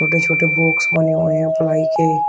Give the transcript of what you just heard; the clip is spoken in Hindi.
छोटे छोटे बॉक्स बने हुए हैं प्लाई के।